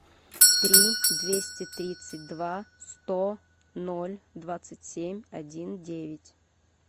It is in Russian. три двести тридцать два сто ноль двадцать семь один девять